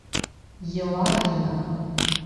елагина